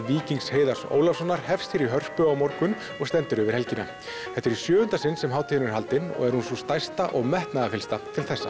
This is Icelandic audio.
Víkings Heiðars Ólafssonar hefst hér í Hörpu á morgun og stendur yfir helgina þetta er í sjöunda sinn sem hátíðin er haldin og er hún sú stærsta og metnaðarfyllsta til þessa